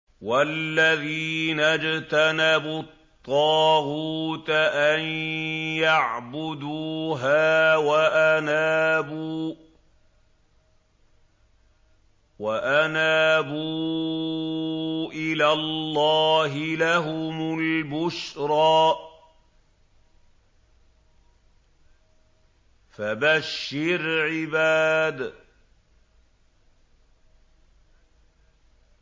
وَالَّذِينَ اجْتَنَبُوا الطَّاغُوتَ أَن يَعْبُدُوهَا وَأَنَابُوا إِلَى اللَّهِ لَهُمُ الْبُشْرَىٰ ۚ فَبَشِّرْ عِبَادِ